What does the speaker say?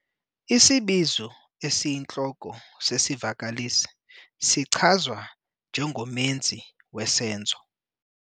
Isibizo esiyintloko sesivakalisi sichazwa njengomenzi wesenzo.